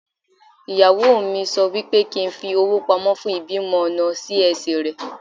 Ìyàwó mi sọ wípé kín fi owó pamọ́ fún ìbímọ ọ̀nà Sí-Ẹsì rẹ̀.